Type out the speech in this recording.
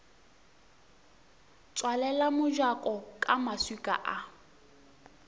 tswalela mojako ka maswika a